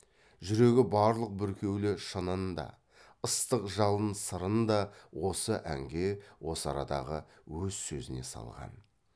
жүрегі барлық бүркеулі шынын да ыстық жалын сырын да осы әнге осы арадағы өз сөзіне салған